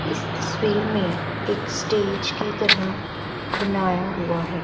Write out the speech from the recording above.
इस तस्वीर में एक स्टेज की तरह बनाया हुआ है।